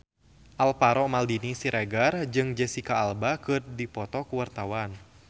Alvaro Maldini Siregar jeung Jesicca Alba keur dipoto ku wartawan